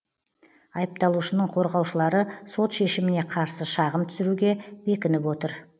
айыпталушының қорғаушылары сот шешіміне қарсы шағым түсіруге бекініп отыр